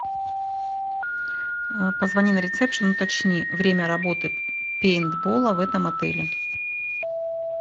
позвони на ресепшн уточни время работы пейнтбола в этом отеле